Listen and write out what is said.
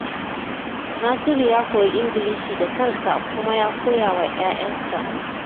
Nasiru ya koyi Ingilishi da kansa kuma ya koya wa 'ya'yansa.